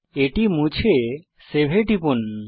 এটি মুছে সেভ এ টিপুন